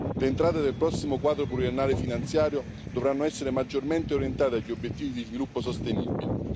Le entrate del prossimo quadro finanziario pluriennale dovranno essere maggiormente orientate agli obiettivi di sviluppo sostenibile.